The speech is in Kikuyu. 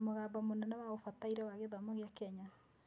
Mũgambo mũnene wa Ũbataire wa Gĩthomo gĩa Kenya